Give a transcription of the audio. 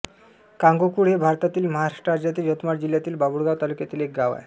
कांगोकुळ हे भारतातील महाराष्ट्र राज्यातील यवतमाळ जिल्ह्यातील बाभुळगाव तालुक्यातील एक गाव आहे